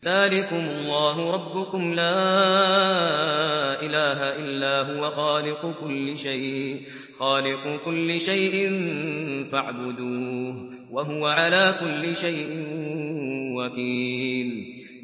ذَٰلِكُمُ اللَّهُ رَبُّكُمْ ۖ لَا إِلَٰهَ إِلَّا هُوَ ۖ خَالِقُ كُلِّ شَيْءٍ فَاعْبُدُوهُ ۚ وَهُوَ عَلَىٰ كُلِّ شَيْءٍ وَكِيلٌ